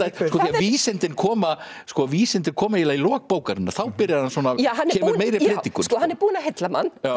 vísindin koma vísindin koma eiginlega í lok bókarinnar þá kemur meiri predikun hann er búinn að heilla mann